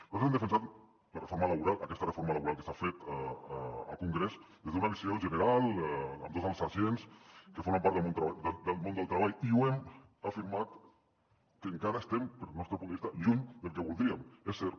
nosaltres hem defensat la reforma laboral aquesta reforma laboral que s’ha fet al congrés des d’una visió general amb tots els agents que formen part del món del treball i ho hem afirmat que encara estem pel nostre punt de vista lluny del que voldríem és cert